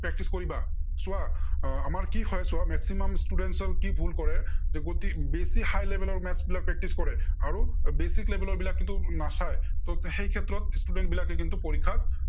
practise কৰিবা। চোৱা আহ আমাৰ কি হয়, চোৱা এৰ maximum students ৰ কি ভুল কৰে যে, গতি বেছি high level maths বিলাক practise আৰু basic level ৰ বিলাক কিন্তু নাচায়। so সেই ক্ষেত্ৰত student বিলাকে কিন্তু পৰীক্ষাত